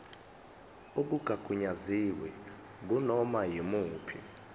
okungagunyaziwe kunoma yimuphi